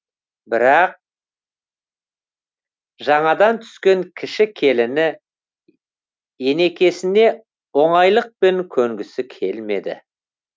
бірақ жаңадан түскен кіші келіні енекесіне оңайлықпен көнгісі келмеді